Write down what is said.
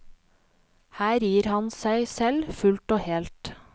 Her gir han seg selv fullt og helt.